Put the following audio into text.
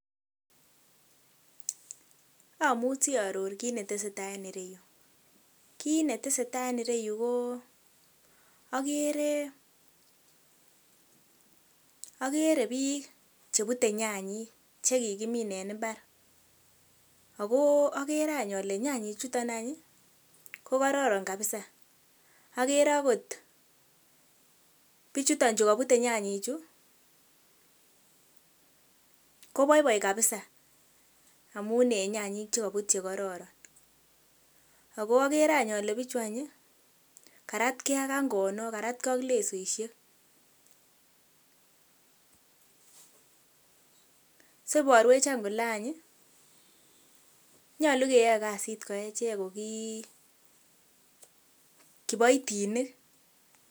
Amuchi aror kiit neteseta en ireyuu, kiit neteseta en ireyu ko okere okere biik chebute nyanyik chekakimin en imbar, ak ko okere aany olee nyanyi chuton any ko kororon kabisaa okere akot biichuton chukobute nyanyichu koboiboi kabisaa amun en nyanyik chekobut chekororon ak ko okere an olee bichu any ii karatkee ak angonok karatkee ak lesoishek, so iborwech any kolee any nyolu keyoe kasit ko echek ko kii kiboitinik.